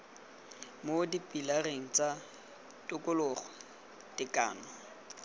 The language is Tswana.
mo dipilareng tsa tokologo tekano